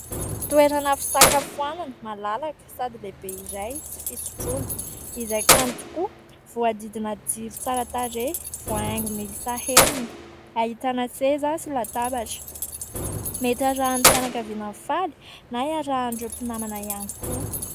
Toerana fisakafoanana, malalaka sady lehibe iray sy fisotroana izay kanto tokoa. Voahodidina jiro tsara tarehy, voahaingo miisa enina. Ahitana seza sy latabatra. Mety hiarahan'ny fianakaviana mifaly na hiarahan'ireo mpinamana ihany koa.